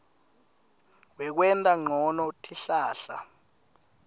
wekwenta ncono tihlahla